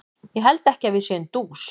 Ég held ekki að við séum dús.